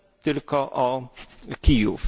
tylko o Kijów.